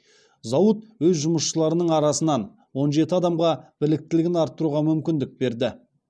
зауыт өз жұмысшыларының арасынан он жеті адамға біліктілігін арттыруға мүмкіндік берді